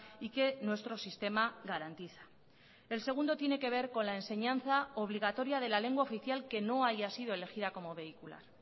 y que nuestro sistema garantiza el segundo tiene que ver con la enseñanza obligatoria de la lengua oficial que no haya sido elegida como vehicular